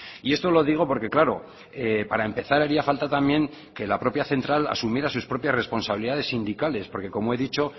y esto lo digo porque claro para empezar haría falta también que la propia central asumiera sus propias responsabilidades sindicales porque como he dicho